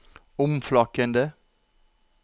omflakkende